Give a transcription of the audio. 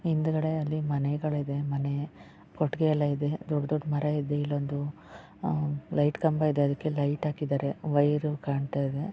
ಹಿಂದ್ಗಡೆಯಲ್ಲಿ ಮನೆಗಳಿದವೇ ಮನೆ ಕೊಡುಗೆ ಇದೆ ದೊಡ್ಡ ದೊಡ್ಡ ಮರ ಇದೆ ಇಲ್ಲಿ ಲೈಟ್ ಕಂಬ ಇದೆ ಅದಕ್ಕೆ ಲೈಟ್ ಹಾಕಿದ್ದಾರೆ ವೈರು ಕಾಣ್ತಾ ಇದೆ.